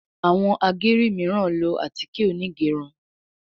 Àwọn ageri miran ló atike Onigerun